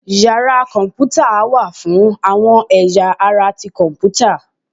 Yara kọnputa wa fún awọn eyá ará tí Kọǹpútà.